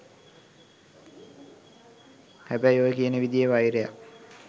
හැබැයි ඔය කියන විදියේ වෛරයක්